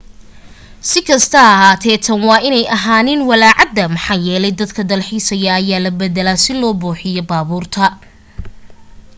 sikasto ha ahaate tan waa inay ahaanin walaacaada maxaa yeelay dadka dalxiisayo ayaa la bedelaa si loo buuxiyo baabuurta